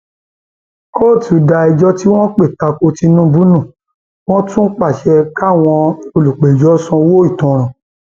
kóòtù da ẹjọ tí wọn pè ta ko tinubu nù wọn tún pàṣẹ káwọn olùpẹjọ sanwó ìtanràn